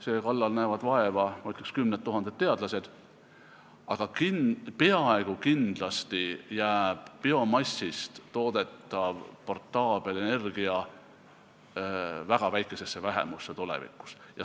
Selle kallal näevad vaeva, ma ütleks, kümned tuhanded teadlased, aga peaaegu kindlasti jääb biomassist toodetav portable-energia tulevikus väga väikeseks vähemuseks.